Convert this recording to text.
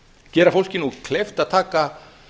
gera fólki nú kleift að taka